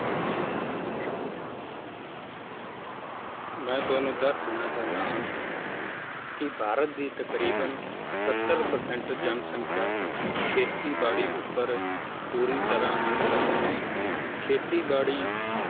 ਮੈ ਤੁਹਾਨੂੰ ਦੱਸ ਦੇਣਾ ਚਾਹੁੰਦਾ ਹਾਂ ਕੀ ਭਾਰਤ ਦੀ ਤਕਰੀਬਨ ਸੱਤਰ percent ਜਨਸੰਖਿਆ ਖੇਤੀ ਬਾੜੀ ਉੱਪਰ ਪੂਰੀ ਤਰਾਂ ਨਿਰਭਰ ਹੈ ਖੇਤੀ ਬਾੜੀ